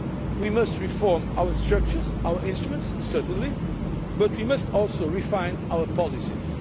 We must reform our structures and our instruments, certainly, but we must also refine our policies.